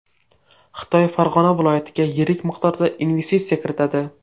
Xitoy Farg‘ona viloyatiga yirik miqdorda investitsiya kiritadi.